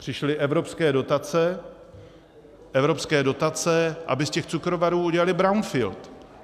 Přišly evropské dotace, aby z těch cukrovarů udělali brownfield.